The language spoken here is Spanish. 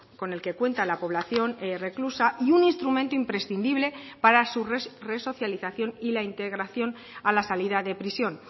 con el que cuenta la población reclusa y un instrumento imprescindible para su resocialización y la integración a la salida de prisión